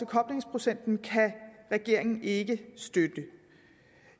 koblingsprocenten kan regeringen ikke støtte